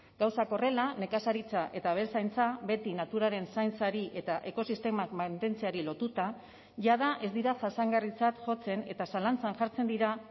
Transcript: gauzak horrela nekazaritza eta abeltzaintza beti naturaren zaintzari eta ekosistemak mantentzeari lotuta jada ez dira jasangarritzat jotzen eta zalantzan jartzen dira